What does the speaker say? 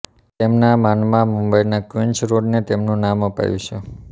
તેમના માનમાં મુંબઈના ક્વિન્સ રોડને તેમનું નામ અપાયું છે